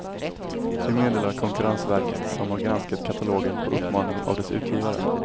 Det meddelar konkurrensverket som har granskat katalogen på uppmaning av dess utgivare.